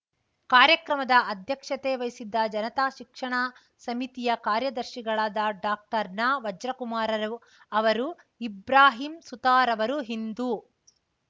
ಕಾರ್ಯಕ್ರಮದ ಅಧ್ಯಕ್ಷತೆ ವಹಿಸಿದ್ದ ಜನತಾ ಶಿಕ್ಷಣ ಸಮಿತಿಯ ಕಾರ್ಯದರ್ಶಿಗಳಾದ ಡಾಕ್ಟರ್ ನವಜ್ರಕುಮಾರರು ಅವರು ಇಬ್ರಾಹಿಂ ಸುತಾರವರು ಹಿಂದೂ